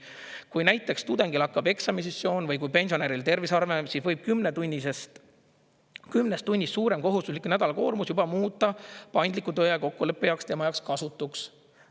Kui näiteks tudengil hakkab eksamisessioon või kui pensionäril tervis halvem on, siis võib 10 tunnist suurem kohustuslik nädalakoormus juba muuta paindliku tööaja kokkuleppe tema jaoks kasutuks.